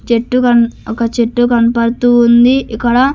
చెట్టు కన్ ఒక చెట్టు కనపడుతూ ఉంది ఇక్కడ --